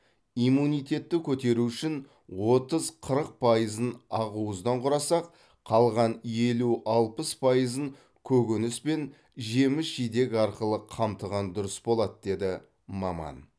иммунитетті көтеру үшін отыз қырық пайызын ақуыздан құрасақ қалған елу алпыс пайызын көкөніс пен жеміс жидек арқылы қамтыған дұрыс болады деді маман